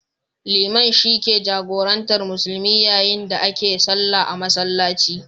Liman shi ke jagorantar musulmi yayin da ake sallah a masallaci.